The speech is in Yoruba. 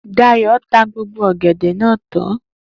Dayo ta gbogbo ọ̀gẹ̀dẹ̀ náà tán